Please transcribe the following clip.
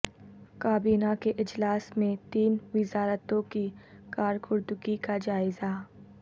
کابینہ کے اجلاس میں تین وزارتوں کی کارکردگی کا جائزہ